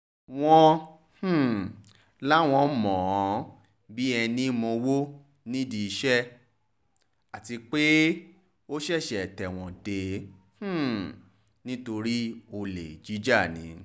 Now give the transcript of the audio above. wọ́n um láwọn mọ̀ ọ́n bíi ẹní mowó nídìí iṣẹ́ ọ̀hún àti pé ó ṣẹ̀ṣẹ̀ tẹ̀wọ̀n dé um nítorí olè jíjà ni